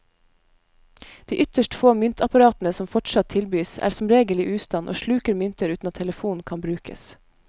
De ytterst få myntapparatene som fortsatt tilbys, er som regel i ustand og sluker mynter uten at telefonen kan brukes.